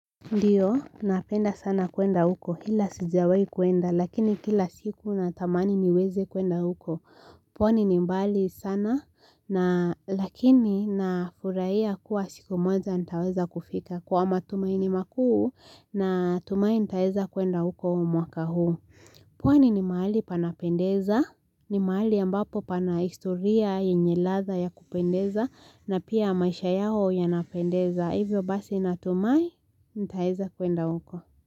Ndiyo, napenda sana kuenda huko. Ila sijawai kwenda, lakini kila siku na tamani niweze kwenda huko. Pwani ni mbali sana, lakini na furahia kuwa siku moja nitaweza kufika. Kwa matumaini makuu, natumai nitaeza kwenda huko mwaka huu. Pwani ni mahali panapendeza, ni mahali ambapo pana historia yenye ladha ya kupendeza, na pia maisha yao ya napendeza hivyo basi natumai nitaeza kwenda huko.